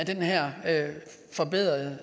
her forbedrede